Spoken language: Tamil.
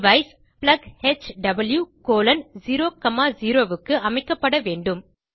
டிவைஸ் plughw00 க்கு அமைக்கப்பட வேண்டும்